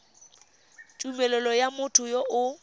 tumelelo ya motho yo o